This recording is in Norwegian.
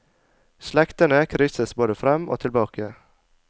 Slektene krysses både fram og tilbake.